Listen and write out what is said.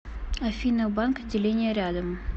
афина банк отделения рядом